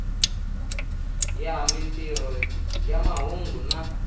ya mintirho ya mahungu na